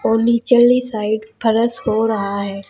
और नीचली साइड फर्श हो रहा है।